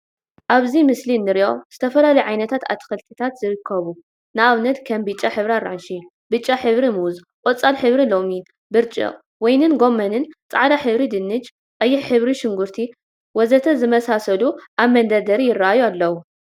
አብዚ ምስሊ እንሪኦ ዝተፈላለዩ ዓይነት አትክልቲታት ይርከቡ፡፡ ንአብነት ከም ብጫ ሕብሪ አራንሺ፣ ብጫ ሕብሪ ሙዝ፣ ቆፃል ሕብሪ ሎሚን፣ ብርጭቅ፣ ወይኒን ጎመንን፣ ፃዕዳ ሕብሪ ድንሽ፣ ቀይሕ ሕብሪ ሽንጉርቲ ቀይሕን ወዘተ ዝመሳሰሉ አብ መንደርደሪ ይረአዩ አለው፡፡